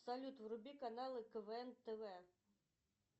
салют вруби каналы квн тв